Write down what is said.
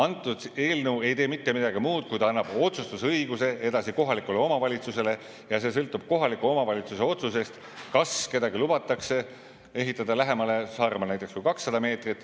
See eelnõu ei tee mitte midagi muud, kui annab otsustusõiguse edasi kohalikule omavalitsusele ja sõltub kohaliku omavalitsuse otsusest, kas kellelgi lubatakse ehitada lähemale, Saaremaal näiteks lähemale kui 200 meetrit.